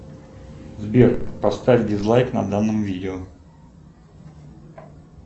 сбер поставь дизлайк на данном видео